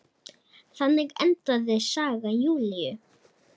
Þannig endaði saga Júlíu.